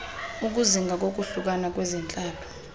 ukuzinga kokohlukana ngokwezentlalo